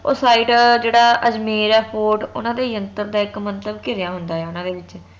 ਉਹ site ਜਿਹੜਾ ਅਜਮੇਰ ਹੈ fort ਓਹਨਾ ਦੇ ਯੰਤਰ ਦਾ ਇਕ ਮੰਤਰ ਘਿਰਿਆ ਹੁੰਦਾ ਉਹਨਾ ਦੇ ਵਿਚ